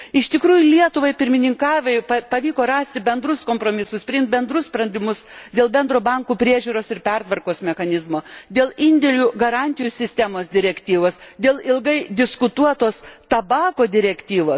Iš tikrųjų Lietuvai pirmininkaujant pavyko rasti bendrus kompromisus, priimti bendrus sprendimus dėl bendro bankų priežiūros ir pertvarkos mechanizmo, dėl indėlių garantijų sistemos direktyvos, dėl ilgai diskutuotos Tabako direktyvos.